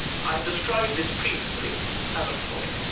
I have described this previously as a frolic.